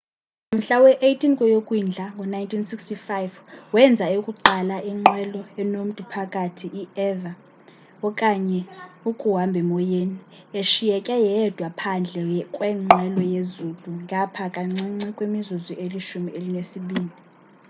ngomhla we-18 ngeyokwindla ngo-1965 wenza eyokuqala inqwelo enomtu phakathi i-eva okanye ukuhambhemoyeni eshiyeke yedwa phandle kwenqwelo yezulu ngapha kancinci kwimizuzu elishumi elinesibini